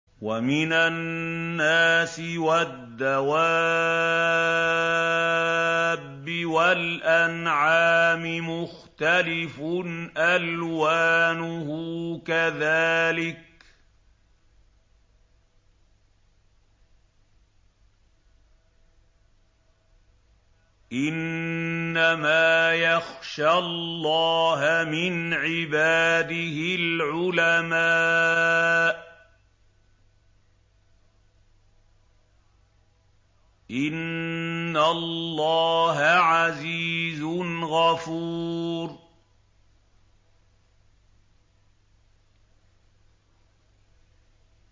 وَمِنَ النَّاسِ وَالدَّوَابِّ وَالْأَنْعَامِ مُخْتَلِفٌ أَلْوَانُهُ كَذَٰلِكَ ۗ إِنَّمَا يَخْشَى اللَّهَ مِنْ عِبَادِهِ الْعُلَمَاءُ ۗ إِنَّ اللَّهَ عَزِيزٌ غَفُورٌ